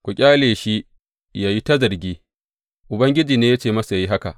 Ku ƙyale shi, yă yi ta zargi, Ubangiji ne ya ce masa yă yi haka.